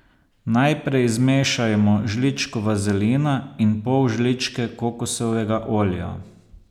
Najprej zmešajmo žličko vazelina in pol žličke kokosovega olja.